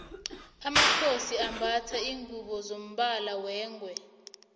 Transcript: amakhosi ambatha lingubo zombala wengwe